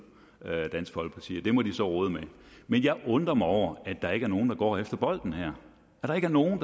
dansk folkeparti det må de så rode med men jeg undrer mig over at der ikke er nogen der går efter bolden her at der ikke er nogen